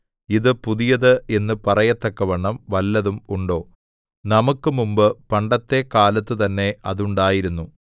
ഇതു പുതിയത് എന്നു പറയത്തക്കവണ്ണം വല്ലതും ഉണ്ടോ നമുക്കു മുമ്പ് പണ്ടത്തെ കാലത്ത് തന്നെ അതുണ്ടായിരുന്നു